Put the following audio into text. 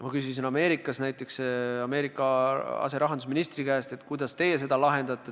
Ma küsisin USA aserahandusministri käest, kuidas nemad seda lahendavad.